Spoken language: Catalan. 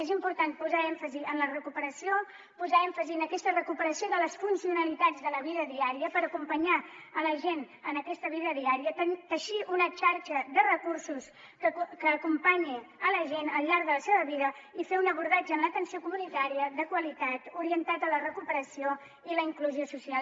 és important posar èmfasi en la recuperació posar èmfasi en aquesta recuperació de les funcionalitats de la vida diària per acompanyar la gent en aquesta vida diària teixir una xarxa de recursos que acompanyi la gent al llarg de la seva vida i fer un abordatge en l’atenció comunitària de qualitat orientat a la recuperació i la inclusió social